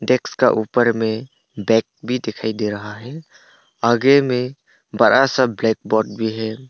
Desk का ऊपर में बैग भी दिखाई दे रहा है आगे में बड़ा सा ब्लैकबोर्ड भी है।